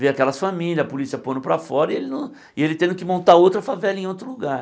Viam aquelas famílias, a polícia pondo para fora, e ele não e ele tendo que montar outra favela em outro lugar.